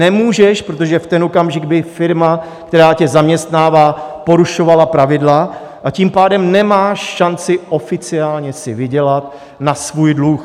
Nemůžeš, protože v ten okamžik by firma, která tě zaměstnává, porušovala pravidla, a tím pádem nemáš šanci oficiálně si vydělat na svůj dluh.